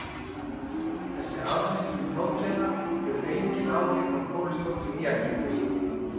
Þessi afmyndun próteina hefur engin áhrif á kólesteról í egginu.